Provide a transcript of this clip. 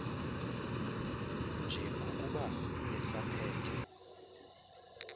nje ngokuba esaphethe